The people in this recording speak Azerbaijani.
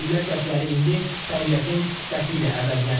Güllə səsləri indi təbiətin səsi ilə əvəzlənib.